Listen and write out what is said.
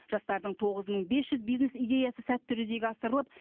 жастардың тоғыз мың бес жүз бизнес идеясы сәтті жүзеге асырылып